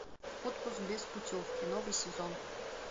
отпуск без путевки новый сезон